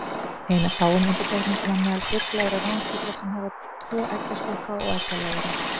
Ein af fáum undantekningum á meðal fugla eru ránfuglar sem hafa tvo eggjastokka og eggjaleiðara.